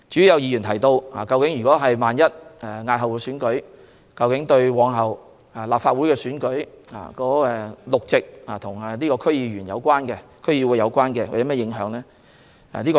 有議員提到，如要押後選舉，對日後的立法會選舉中與區議會有關的6個議席有何影響？